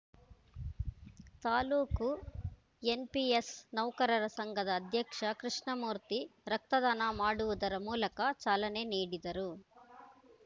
taluk NPS ನೌಕರರ ಸಂಘದ ಅಧ್ಯಕ್ಷ ಕೃಷ್ಣಮೂರ್ತಿ ರಕ್ತದಾನ ಮಾಡುವುದರ ಮೂಲಕ ಚಾಲನೆ ನೀಡಿದರು